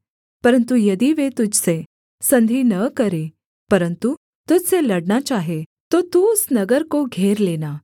परन्तु यदि वे तुझ से संधि न करें परन्तु तुझ से लड़ना चाहें तो तू उस नगर को घेर लेना